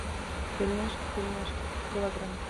пельмешки в тельняшке килограмм